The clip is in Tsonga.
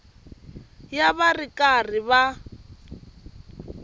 ya va ri karhi va